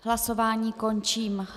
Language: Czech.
Hlasování končím.